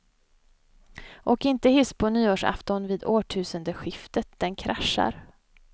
Åk inte hiss på nyårsafton vid årtusendeskiftet, den kraschar.